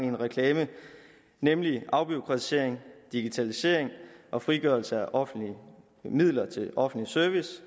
en reklame nemlig afbureaukratisering digitalisering og frigørelse af offentlige midler til offentlig service